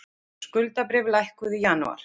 Skuldabréf lækkuðu í janúar